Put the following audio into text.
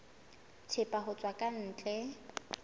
thepa ho tswa ka ntle